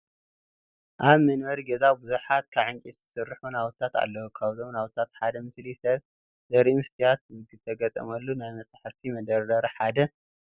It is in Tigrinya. ኣብ መንበሪ ገዛ ብዙሓት ካብ ዕንጨይቲ ዝስርሑ ናውትታት ኣለዉ፡፡ ካብዞም ናውትታት ሓደ ምስሊ ሰብ ዘርኢ መስትያት ዝተገጠመሉ ናይ መፃሕፍቲ መደርደሪ ሓደ እዩ፡፡